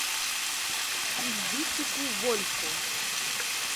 ильдусику вольфу